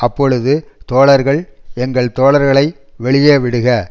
அப்பொழுது தோழர்கள் எங்கள் தோழர்களை வெளியே விடுக